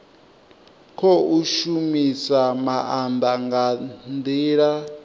khou shumisa maanda nga ndila